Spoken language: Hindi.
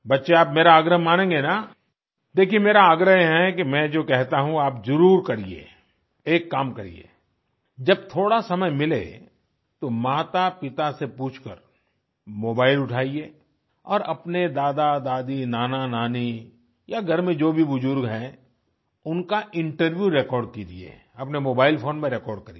बच्चों आप मेरा आग्रह मानेगें न देखिये मेरा आग्रह है कि मैं जो कहता हूँ आप जरूर करिए एक काम करिए जब थोड़ा समय मिले तो मातापिता से पूछकर मोबाइल उठाइए और अपने दादादादी नानानानी या घर में जो भी बुर्जुर्ग है उनका इंटरव्यू रेकॉर्ड कीजिए अपने मोबाइल फ़ोन में रेकॉर्ड करिए